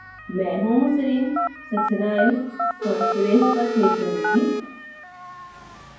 मैं homoserine succinyl transferase पर click करूँगी